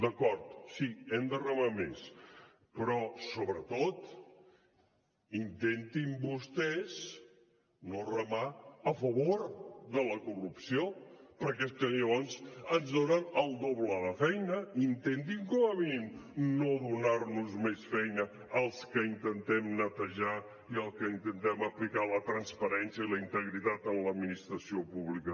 d’acord sí hem de remar més però sobretot intentin vostès no remar a favor de la corrupció perquè és que llavors ens donen el doble de feina intentin com a mínim no donar nos més feina als que intentem netejar i als que intentem aplicar la transparència i la integritat en l’administració pública